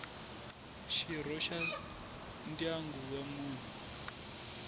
xirho xa ndyangu wa munhu